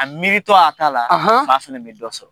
A miiri tɔ a ta la, fa fana bɛ dɔ sɔrɔ.